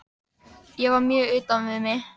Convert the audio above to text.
Ég var mjög utan við mig.